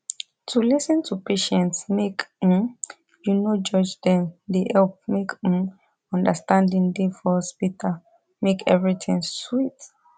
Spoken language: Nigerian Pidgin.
to lis ten to patients make um u no judge dem dey help make um understanding da for hospital make everything sweet